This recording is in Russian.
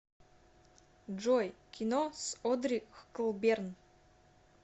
джой кино с одри хклберн